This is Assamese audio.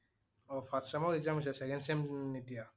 অ first sem ৰ exam হৈছে second এতিয়া